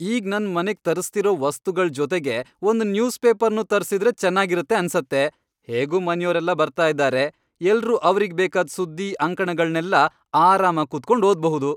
ಈಗ್ ನನ್ ಮನೆಗ್ ತರಿಸ್ತಿರೋ ವಸ್ತುಗಳ್ ಜೊತೆಗೆ ಒಂದ್ ನ್ಯೂಸ್ ಪೇಪರ್ನೂ ತರ್ಸಿದ್ರೆ ಚೆನಾಗಿರತ್ತೆ ಅನ್ಸತ್ತೆ! ಹೇಗೂ ಮನ್ಯೋರೆಲ್ಲ ಬರ್ತಾ ಇದಾರೆ, ಎಲ್ರೂ ಅವ್ರಿಗ್ ಬೇಕಾದ್ ಸುದ್ದಿ, ಅಂಕಣಗಳ್ನೆಲ್ಲ ಆರಾಮಾಗ್ ಕೂತ್ಕೊಂಡ್ ಓದ್ಬಹುದು.